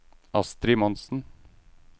Astri Monsen